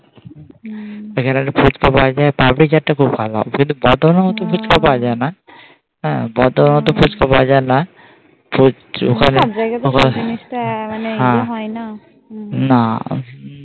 এখানে ফুচকা পাওয়া যায় পাপড়ি খেতে খুব ভালো বর্ধমান এর মতো ফুচকা পাওয়া যায় না হ্যাঁ বার্দামানের মতো ফুচকা পাওয়া যায় না